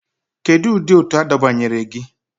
Kedu ụdị òtù adọbanyere gị?